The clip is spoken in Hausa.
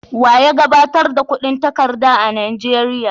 Wa ya gabatar da kudin takarda a Nigeria?